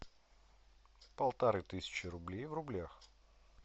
полторы тысячи рублей в рублях